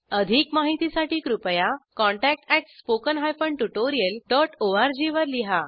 अधिक माहितीसाठी कृपया contact at spoken hyphen tutorial dot org वर लिहा